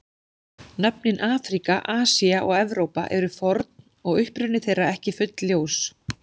Nöfnin Afríka, Asía og Evrópa eru forn og uppruni þeirra ekki fullljós.